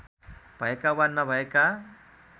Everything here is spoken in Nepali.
भएका वा नभएका